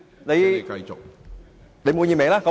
你滿意嗎？